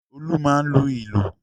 Olú máa ń lu ìlù.